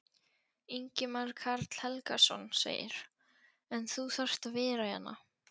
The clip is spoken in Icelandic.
Ingimar Karl Helgason: En þú þarft að vera hérna?